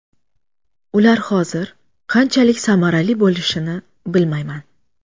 Ular hozir qanchalik samarali bo‘lishini bilmayman.